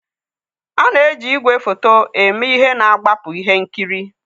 A na-eji igwefoto eme ihe na-agbapụ ihe nkiri